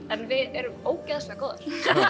en við erum ógeðslega góðar